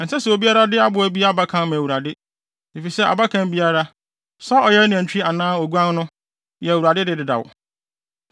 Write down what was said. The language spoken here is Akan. “ ‘Ɛnsɛ sɛ obiara de aboa bi abakan ma Awurade, efisɛ abakan biara, sɛ ɔyɛ nantwi anaa oguan no, yɛ Awurade de dedaw.